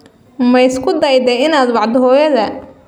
Ma isku dayday inaad wacdo hooyadaa?